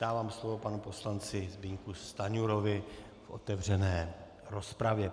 Dávám slovo panu poslanci Zbyňku Stanjurovi v otevřené rozpravě.